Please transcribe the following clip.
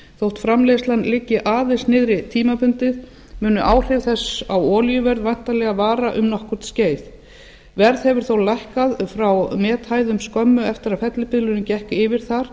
þótt framleiðslan liggi aðeins niðri tímabundið mun áhrif þess á olíuverð væntanlega vara um nokkurt skeið verð hefur þó lækkað frá methæðum skömmu eftir að fellibylurinn gekk yfir þar